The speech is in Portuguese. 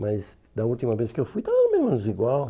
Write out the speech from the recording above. Mas da última vez que eu fui, estava menos igual.